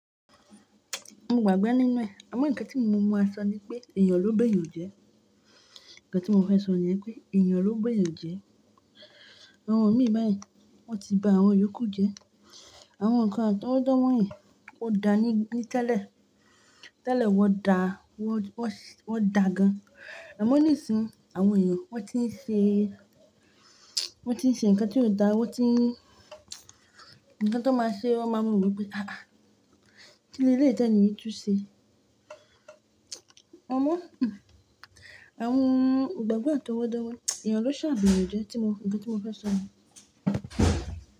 Mo gbàgbé nínú ẹ̀, àmọ́ nǹkan tí mo máa sọ ni pé èèyàn ló bé èèyàn jẹ. Ǹkan tí mo fẹ́ sọ ni pé èèyàn ló gbé èèyàn jẹ. Àwọn mi báyìí wọ́n ti ba àwọn yòókù jẹ. Àwọn nǹkan àtọwọ́dọ́ wọ̀nyí ó dáa ni tẹ́lẹ̀, tẹ́lẹ̀ wọ́n dáa, wọ́n dà gan-an. Àmọ́ nísìnyí àwọn èèyàn wọ́n ti ń ṣe, wọ́n ti ń ṣe nǹkan tí kò dáa, wọ́n ti nǹkan tó máa ṣe wọ́n máa ma woo wi pé "ha! Ha!, Kíni eleyii ti eni yìí tún ṣe?" Àmọ́ àwọn ìgbàgbọ́ àtọwọ́dọ́, èèyàn ló ṣà ba eeyan jẹ tí mo, nǹkan tí mo fẹ́ sọ nìyẹn.